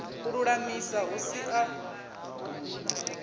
u lulamisa hu si ya